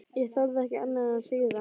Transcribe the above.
Ég þorði ekki annað en að hlýða.